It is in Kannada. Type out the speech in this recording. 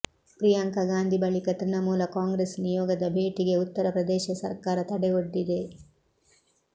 ಪ್ರಿಯಾಂಕಾ ಗಾಂಧಿ ಬಳಿಕ ತೃಣಮೂಲ ಕಾಂಗ್ರೆಸ್ ನಿಯೋಗದ ಭೇಟಿಗೆ ಉತ್ತರ ಪ್ರದೇಶ ಸರ್ಕಾರ ತಡೆ ಒಡ್ಡಿದೆ